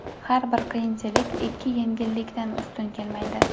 Har bir qiyinchilik ikki yengillikdan ustun kelmaydi”.